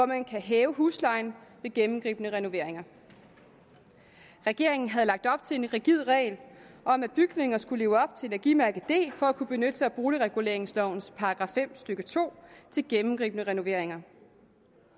man kan hæve huslejen ved gennemgribende renoveringer regeringen havde lagt op til en rigid regel om at bygninger skulle leve op til energimærke d for at kunne benytte sig af boligreguleringslovens § fem stykke to ved gennemgribende renoveringer